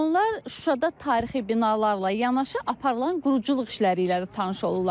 Onlar Şuşada tarixi binalarla yanaşı aparılan quruculuq işləri ilə də tanış olurlar.